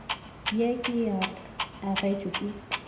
ye ke e agetšwe ke